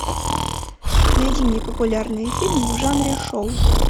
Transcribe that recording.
найди мне популярные фильмы в жанре шоу